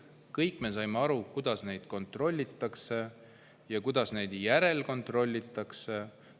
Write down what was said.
Kõik me saime aru, kuidas neid kontrollitakse ja kuidas neid järelkontrollitakse.